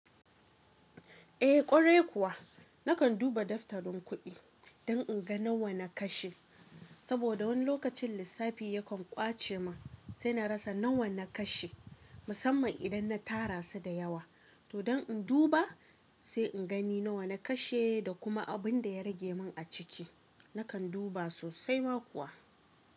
Eh ƙwarai kuwa, nakan duba daftarin kuɗi don in ga nawa na kashe. Saboda wani lokacin lissafi yakan ƙwace man sai na rasa nawa na kashe, musamman idan na tara su da yawa. To don in duba sai in gani nawa na kashe da kuma abin da ya rage min a ciki nakan duba sosai ma kuwa.